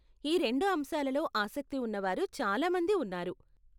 ఈ రెండు అంశాలలో ఆసక్తి ఉన్నవారు చాలా మంది ఉన్నారు.